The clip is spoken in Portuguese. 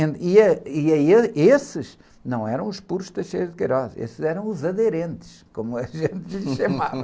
E, eh, e, e esses não eram os puros, esses eram os aderentes, como a gente os chamava.